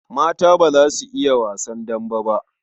Mata ba za su iya wasan dambe ba.